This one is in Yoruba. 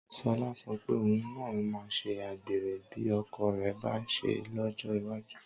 Sọlá sọ pé òun náà máa ṣe àgbèrè bí ọkọ rẹ̀ bá ń ṣe é lọ́jọ́ iwájú